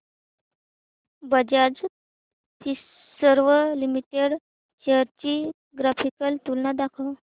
Bajaj Finserv limited shares ची graphical तुलना दाखव